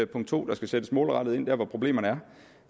punkt 2 der skal sættes målrettet ind der hvor problemerne